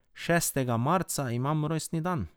Šestega marca imam rojstni dan.